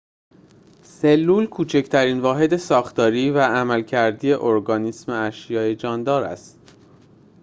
سلول کوچکترین واحد ساختاری و عملکردی ارگانیسم اشیاء جاندار است